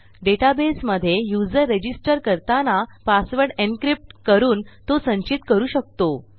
डेटाबेसमधे user register करताना password encrypt करून तो संचित करू शकतो